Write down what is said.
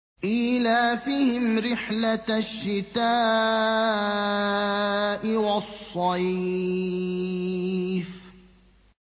إِيلَافِهِمْ رِحْلَةَ الشِّتَاءِ وَالصَّيْفِ